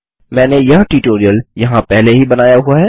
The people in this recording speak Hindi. मैंने यह ट्यूटोरियल यहाँ पहले ही बनाया हुआ है